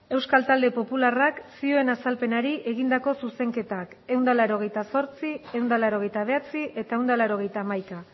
euskal talde popularrak zioen azalpenari egindako zuzenketak ehun eta laurogeita zortzi ehun eta laurogeita bederatzi eta ehun eta laurogeita hamaika